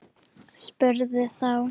Spurði þá